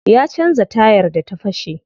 Ya canza tayar da ta fashe.